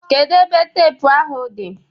Kedu ebe teepu ahụ dị